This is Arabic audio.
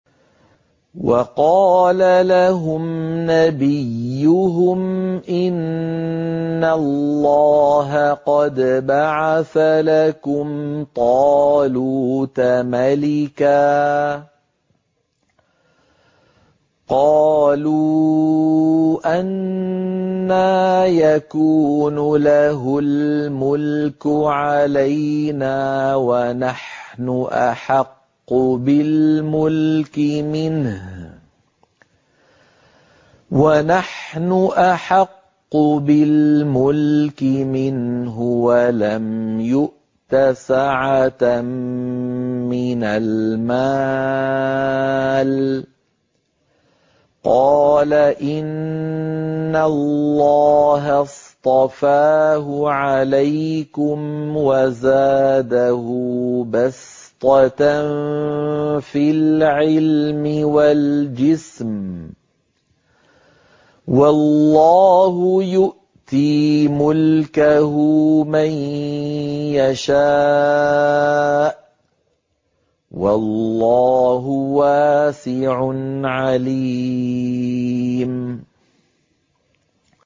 وَقَالَ لَهُمْ نَبِيُّهُمْ إِنَّ اللَّهَ قَدْ بَعَثَ لَكُمْ طَالُوتَ مَلِكًا ۚ قَالُوا أَنَّىٰ يَكُونُ لَهُ الْمُلْكُ عَلَيْنَا وَنَحْنُ أَحَقُّ بِالْمُلْكِ مِنْهُ وَلَمْ يُؤْتَ سَعَةً مِّنَ الْمَالِ ۚ قَالَ إِنَّ اللَّهَ اصْطَفَاهُ عَلَيْكُمْ وَزَادَهُ بَسْطَةً فِي الْعِلْمِ وَالْجِسْمِ ۖ وَاللَّهُ يُؤْتِي مُلْكَهُ مَن يَشَاءُ ۚ وَاللَّهُ وَاسِعٌ عَلِيمٌ